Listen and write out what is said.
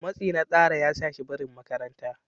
matsi na tsara ya sa shi barin makaranta